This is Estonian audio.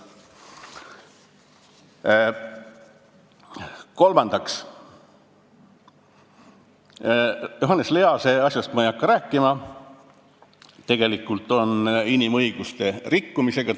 Kolmandaks, Johannes Lease asjast ei hakka ma rääkima, tegelikult oli tegemist inimõiguste rikkumisega.